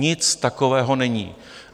Nic takového není.